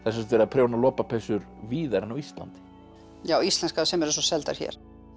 sagt verið að prjóna lopapeysur víðar en á Íslandi já íslenskar sem eru svo seldar hér